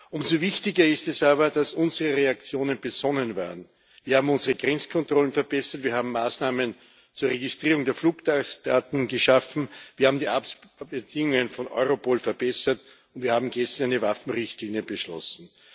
Umso wichtiger ist es aber, dass unsere Reaktionen besonnen werden. Wir haben unsere Grenzkontrollen verbessert, wir haben Maßnahmen zur Registrierung der Fluggastdaten geschaffen, wir haben die Bedingungen von Europol verbessert, und wir haben gestern eine Waffenrichtlinie beschlossen.